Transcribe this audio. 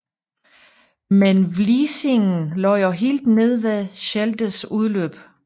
Men Vliessingen lå jo helt nede ved Scheldes udløb